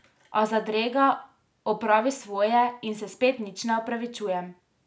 A zadrega opravi svoje in se spet nič ne opravičujem.